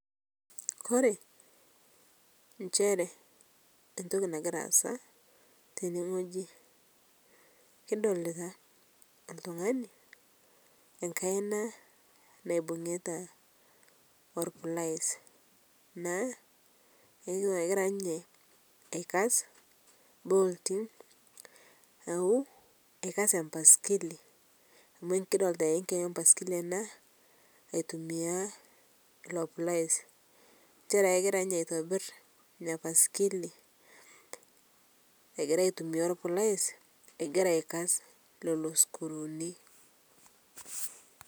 Kore nchere entoki nagira aasa tene ng'oji kidolitaa ltung'ani nkaina naibung'ita ol pliers naa egira ninye aikas boltii naaku eikasee mpaiskili amu kidolita ee nkeju empaskili ana aitumia ilo pliers nchere egira ninyee aitibir inia paskilii egira aitumia lplais egira aikas leloo skruuni.